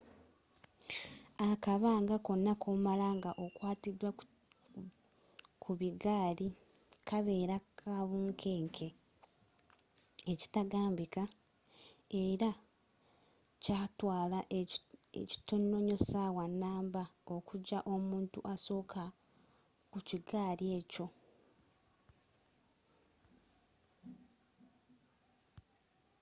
akabanga konna koomala nga okwatiddwa ku bigaali kabeera ka bunkeenke ekitagambika ela kyaatwaala ekitono nyo essawa numba okujja omuntu asokka ku kigaali ekyo